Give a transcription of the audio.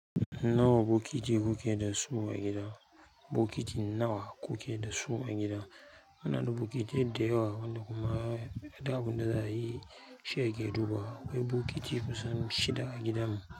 Nawa bokiti kuke da su a gida? Bokiti nawa kuke da su a gida? Muna da bokitai dayawa, wanda kuma duk aɓun da za a yi shi yake duba. Akwai bokiti kusan shida a gidanmu.